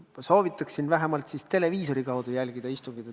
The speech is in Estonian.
Ma soovitan teil vähemalt televiisori kaudu istungit jälgida.